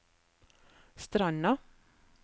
Stranda